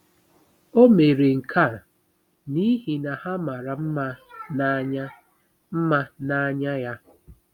O mere nke a n’ihi na ha mara mma n’anya mma n’anya ya.